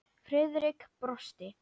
Friðrik brosti.